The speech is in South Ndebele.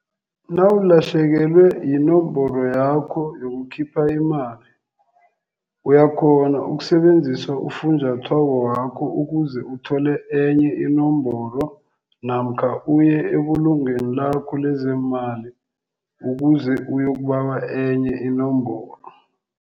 Nawulahlekelwe yinomboro yakho yokukhipha imali uyakghona ukusebenzisa ufunjathwako wakho ukuze uthole enye inomboro namkha uye ebulungweni lakho lezeemali ukuze uyokubawa enye inomboro.